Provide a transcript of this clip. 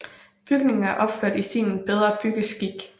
Bygningen er opført i stilen Bedre Byggeskik